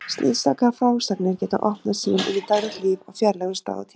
Slíkar frásagnir geta opnað sýn inn í daglegt líf á fjarlægum stað og tíma.